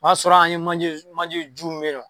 O y'a sɔrɔ an ye manjeju manjeju min beyinɔ.